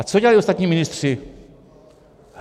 A co dělali ostatní ministři?